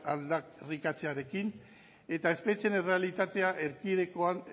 aldarrikatzearekin eta espetxeen errealitatea erkidegoan